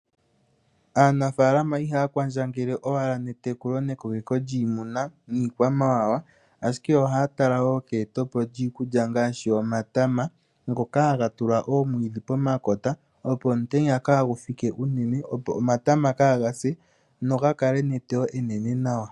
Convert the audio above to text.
Aanafaalama ihaya kwandjangele owala netekulo nekoleko lyiimuna niikwamawawa, ashike ohaya tala wo keyete po lyiikulya ngaashi omatama ngoka haga tulwa oomwiidhi pomakota opo omutenya kagufike uunene, opo omatama kaga se nogakale neteyo enene nawa.